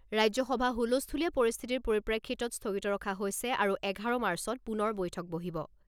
ৰাজ্যসভা হুলস্থুলীয়া পৰিস্থিতিৰ পৰিপ্ৰেক্ষিতত স্থগিত ৰখা হৈছে আৰু এঘাৰ মাৰ্চত পুনৰ বৈঠক বহিব।